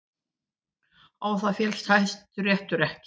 Á það féllst Hæstiréttur ekki